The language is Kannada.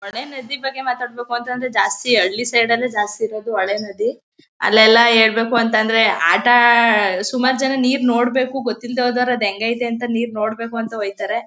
ಹೊಳೆ ನದಿ ಬಗ್ಗೆ ಮಾತಾಡ್ಬೇಕುಂದ್ರೆ ಜಾಸ್ತಿ ಹಳ್ಳಿ ಸೈಡ್ ನಲ್ಲೆ ಜಾಸ್ತಿ ಇರೋದು ಹೊಳೆ ನದಿ ಅಲ್ಲೆಲ್ಲ ಹೇಳ್ಬೇಕುಂತ ಅಂದ್ರೆ ಆಟ ಆ ಸುಮಾರು ಜನ ನೀರು ನೋಡ್ಬೇಕು ಗೊತ್ತಿಲ್ದವರು ಅದು ಹೆಂಗೈತೆ ನೀರು ನೋಡ್ಬೇಕು ಅಂತ ಹೊಯ್ತಾರೆ.